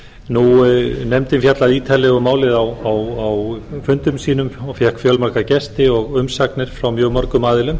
málefnum innflytjenda nefndin fjallaði ítarlega um málið á fundum sínum og fékk fjölmarga ásta og umsagnir frá mjög mörgum aðilum